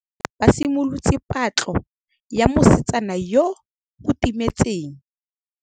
Banna botlhê ba simolotse patlô ya mosetsana yo o timetseng.